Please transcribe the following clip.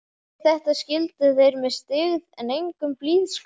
Við þetta skildu þeir með styggð en engum blíðskap.